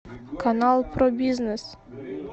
канал про бизнес